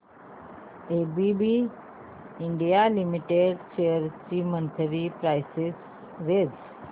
ABB India limited shares ची monthly price range